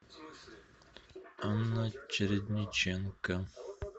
анна чередниченко